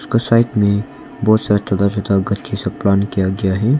कसाइट में बहुत सा सब काम किया गया है।